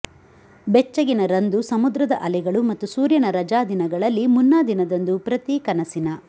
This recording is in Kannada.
ಬೆಚ್ಚಗಿನ ರಂದು ಸಮುದ್ರದ ಅಲೆಗಳು ಮತ್ತು ಸೂರ್ಯನ ರಜಾದಿನಗಳಲ್ಲಿ ಮುನ್ನಾದಿನದಂದು ಪ್ರತಿ ಕನಸಿನ